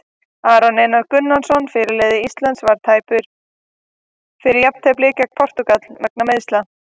Aron Einar Gunnarsson, fyrirliði Íslands, var tæpur fyrir jafnteflið gegn Portúgal vegna meiðsla.